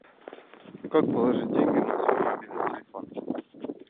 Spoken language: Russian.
как положить деньги на свой мобильный телефон